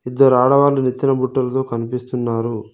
ఇద్దరు ఆడవాళ్లు నెత్తిన బుట్టలతో కనిపిస్తున్నారు.